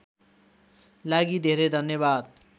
लागि धेरै धन्यवाद